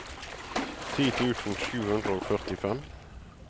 ti tusen sju hundre og førtifem